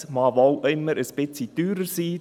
Es mag wohl immer ein wenig teurer sein.